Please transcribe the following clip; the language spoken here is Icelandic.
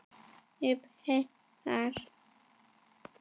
Ef. heiðar